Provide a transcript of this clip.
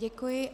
Děkuji.